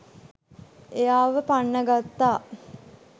එයාව පන්නගත්තා.